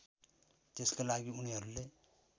त्यसका लागि उनीहरूले